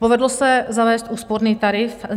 Povedlo se zavést úsporný tarif.